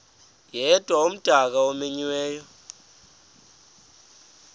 yedwa umdaka omenyiweyo